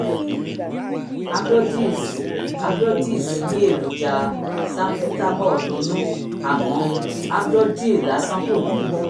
ambrodil s ambrodil s ní èròjà salbutamol nínú àmọ́ amdrodil lásán kò ní